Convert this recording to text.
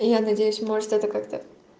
и я надеюсь может это как-то